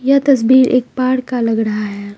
यह तस्वीर एक पार्क का लग रहा है।